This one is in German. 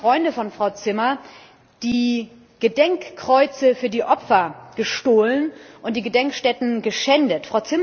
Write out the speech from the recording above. Nun haben die Freunde von Frau Zimmer die Gedenkkreuze für die Opfer gestohlen und die Gedenkstätten geschändet.